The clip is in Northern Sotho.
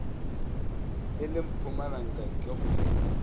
e le mpumalanga ke kgojana